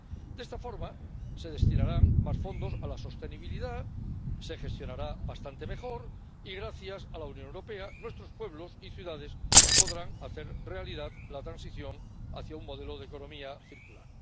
De esta forma se destinarán más fondos a la sostenibilidad, se gestionarán bastante mejor y, gracias a la Unión Europea, nuestros pueblos y ciudades podrán hacer realidad la transición hacia un modelo de economía circular.